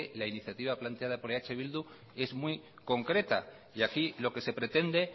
la iniciativa planteada por eh bildu es muy concreta y aquí lo que se pretende